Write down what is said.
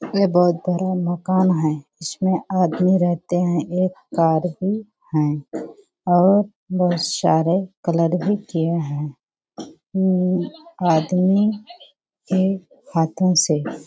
ये बहुत बड़ा मकान है | इसमें आदमी रहते हैं | एक कार भी है और बहुत सारे कलर भी किये हैं आदमी के हाथो से --